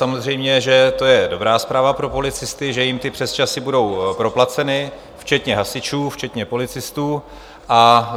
Samozřejmě že to je dobrá zpráva pro policisty, že jim ty přesčasy budou proplaceny, včetně hasičů, včetně policistů, a